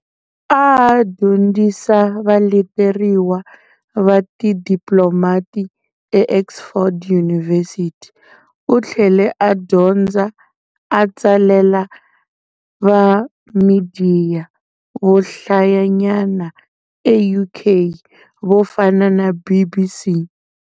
A a dyondzisa valeteriwa va tidiplomati eOxford University, u tlhele a dyondza, a tsalela va midiya vo hlayanyana eUK vo fana na BBC.